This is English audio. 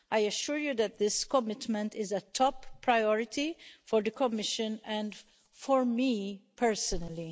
I assure you that this commitment is a top priority for the Commission and for me personally.